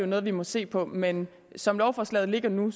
noget vi må se på men som lovforslaget ligger nu